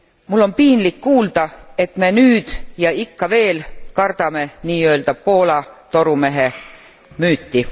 Mul on piinlik kuulda, et me nüüd ja ikka veel kardame nii öelda Poola torumehe müüti.